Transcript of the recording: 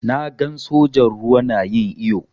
Na gan sojan ruwa na yin iyo.